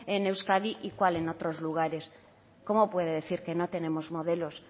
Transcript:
en euskadi y cuál en otros lugares cómo puede decir que no tenemos modelos